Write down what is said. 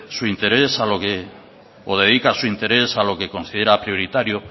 su interés o dedica su interés a lo que considera prioritario